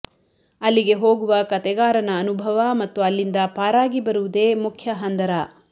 ಅಲ್ಲಿಗೆ ಹೋಗುವ ಕತೆಗಾರನ ಅನುಭವ ಮತ್ತು ಅಲ್ಲಿಂದ ಪಾರಾಗಿ ಬರುವುದೆ ಮುಖ್ಯ ಹಂದರ